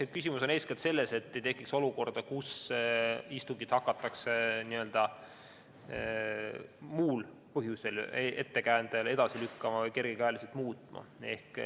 Eks küsimus on eeskätt selles, et ei tekiks olukorda, kus istungit hakatakse n-ö muul põhjusel, ettekäändel edasi lükkama või kergekäeliselt muutma.